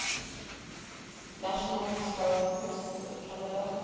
national historic persons of canada